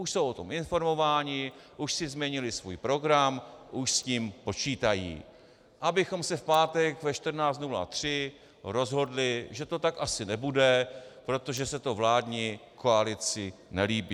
Už jsou o tom informováni, už si změnili svůj program, už s tím počítají, abychom se v pátek ve 14.03 rozhodli, že to tak asi nebude, protože se to vládní koalici nelíbí.